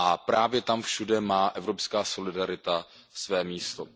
Právě tam všude má evropská solidarita své místo.